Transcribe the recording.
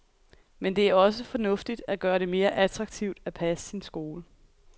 Men det er også fornuftigt at gøre det mere attraktivt at passe sin skole.